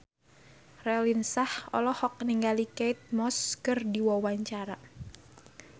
Raline Shah olohok ningali Kate Moss keur diwawancara